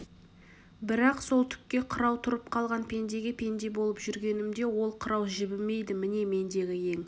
бірақ сол түкке қырау тұрып қалған пендеге пенде болып жүргенімде ол қырау жібімейді міне мендегі ең